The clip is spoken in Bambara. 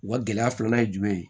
U ka gɛlɛya filanan ye jumɛn ye